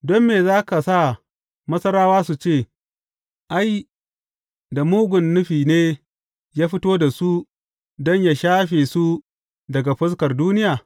Don me za ka sa Masarawa su ce, Ai, da mugun nufi ne ya fito da su don yă shafe su daga fuskar duniya’?